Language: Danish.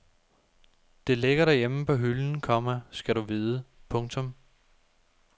Det ligger derhjemme på hylden, komma skal du vide. punktum